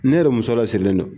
Ne yɛrɛ muso lasirilen don.